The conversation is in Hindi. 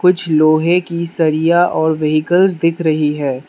कुछ लोहे की सरिया और व्हीकल्स दिख रही है।